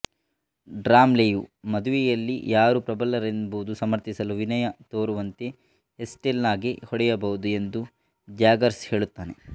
ಡ್ರಮ್ಲೆಯು ಮದುವೆಯಲ್ಲಿ ಯಾರು ಪ್ರಬಲರೆಂಬುದನ್ನು ಸಮರ್ಥಿಸಲು ವಿನಯ ತೋರುವಂತೆ ಎಸ್ಟೆಲ್ಲಾಗೆ ಹೊಡೆಯಬಹುದು ಎಂದು ಜ್ಯಾಗರ್ಸ್ ಹೇಳುತ್ತಾನೆ